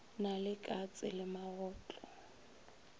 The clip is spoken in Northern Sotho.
na le katse le magotlo